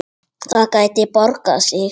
Það gæti borgað sig.